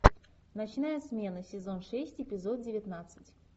ночная смена сезон шесть эпизод девятнадцать